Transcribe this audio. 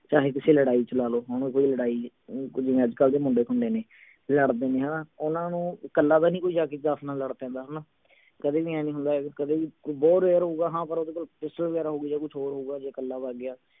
ਚਾਹੇ ਕਿਸੇ ਲੜਾਈ ਚ ਲਾ ਲਓ ਹੁਣ ਕੋਈ ਲੜਾਈ ਹੈ ਓਂ ਕੋਈ ਜਿਵੇਂ ਅੱਜਕਲ ਦੇ ਮੁੰਡੇ ਖੂੰਡੇ ਨੇ ਇਹ ਹੜਦੇ ਨਹੀਂ ਹਣਾ ਓਹਨਾ ਨੂੰ ਕੱਲਾ ਤਾਂ ਨਹੀਂ ਕੋਈ ਜਾਕੇ ਨਾਲ ਲੜ ਪੈਂਦੇ ਹਣਾ ਕਦੇ ਵੀ ਆਏਂ ਨਹੀਂ ਹੁੰਦਾ ਕਦੇ ਵੀ ਕੋਈ ਯਾਰ ਹੋਊਗਾ ਹਾਂ ਪਰ ਅੱਜਕਲ pistol ਵਗੈਰਾ ਹੋਊਗੀ ਯਾ ਕੁਛ ਹੋਰ ਹੋਊਗਾ ਜੇ ਕੱਲਾ ਵੱਗ ਗਿਆ